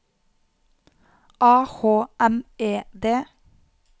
A H M E D